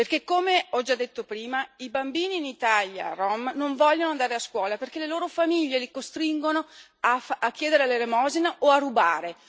Perché, come ho già detto prima, i bambini rom in Italia non vogliono andare a scuola, perché le loro famiglie li costringono a chiedere l'elemosina o a rubare.